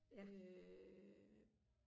øh